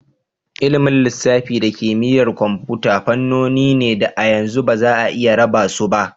Ilimin lissafi da kimiyyar kwamfuta fannoni ne da a yanzu ba za'a iya raba su ba.